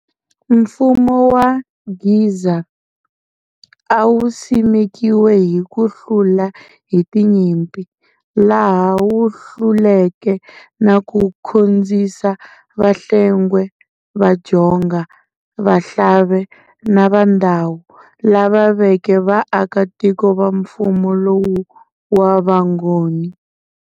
Mfumo wa Gzaa, awusimekiwe hi kuhlula hi tinyimpi, laha wuhluleke na ku khonzisa Vahlengwe, Vadjonga, Vahlave na VaNdawu, lava veke va akatiko va mfumo lowu wa Vangoni.